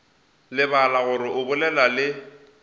lebala gore o bolela le